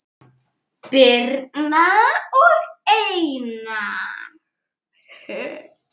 Birna og Einar.